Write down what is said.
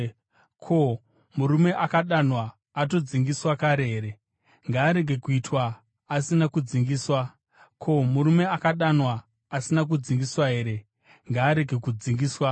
Ko, murume akadanwa atodzingiswa kare here? Ngaarege kuitwa asina kudzingiswa. Ko, murume akadanwa asina kudzingiswa here? Ngaarege kudzingiswa.